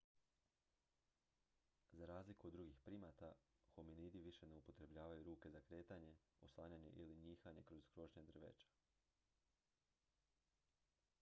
za razliku od drugih primata hominidi više ne upotrebljavaju ruke za kretanje oslanjanje ili njihanje kroz krošnje drveća